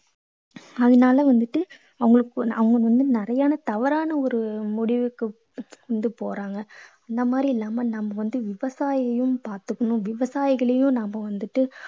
அதனால வந்துட்டு அவங்களுக்கு அவங்க வந்து நிறைய தவறான ஒரு முடிவுக்கு வந்து போறாங்க. அந்த மாதிரி இல்லாம நம்ம வந்து விவசாயியையும் பார்த்துக்கணும். விவசாயிகளையும் நாம வந்துட்டு